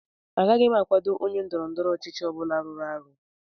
Agaghị m akwado onye ndọrọ ndọrọ ọchịchị ọ bụla rụrụ arụ